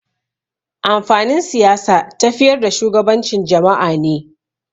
Amfanin Siyasa tafiyar da shugabancin jama'a ne.